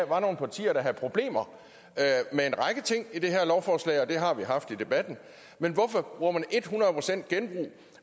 var nogle partier der havde problemer med en række ting i det her lovforslag og det har vi haft i debatten men hvorfor bruger man et hundrede procent genbrug